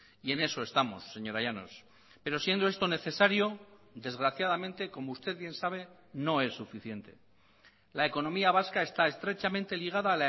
y en eso estamos señora llanos pero siendo esto necesario desgraciadamente como usted bien sabe no es suficiente la economía vasca está estrechamente ligada